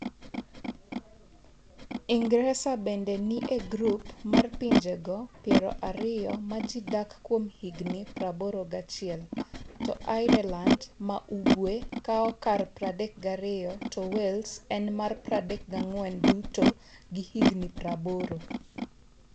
Ingresa bende ni e grup mar pinjego piero ariyo ma ji dak kuom higni 81, to Ireland ma Ugwe kawo kar 32 to Wales en mar 34 duto gi higni 80.